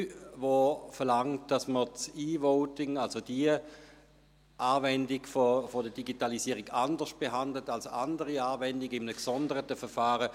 Diese verlangt, dass man das E-Voting, also die entsprechende Anwendung der Digitalisierung, anders behandelt als andere Anwendungen, das heisst in einem gesonderten Verfahren.